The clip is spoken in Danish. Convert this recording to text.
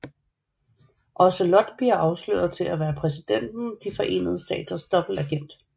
Ocelot bliver afsløret til at være Præsidenten af de forenede staters dobbeltagent